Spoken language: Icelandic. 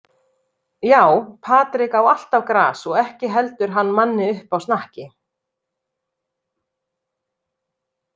Já, Patrik á alltaf gras og ekki heldur hann manni uppi á snakki.